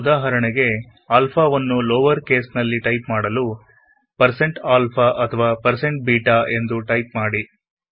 ಉದಾಹರಣೆಗೆಆಲ್ಫಾವನ್ನು lower case ನಲ್ಲಿ type ಮಾಡಲು160ಆಲ್ಫಾ ಅಥವಾ160ಬೀಟ ಎಂದು ಟೈಪ್ ಮಾಡಿ